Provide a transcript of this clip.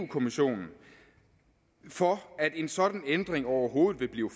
kommissionen for at en sådan ændring overhovedet vil blive